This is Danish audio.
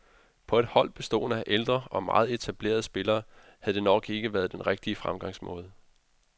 På et hold bestående af ældre og meget etablerede spillere havde det nok ikke været den rigtige fremgangsmåde.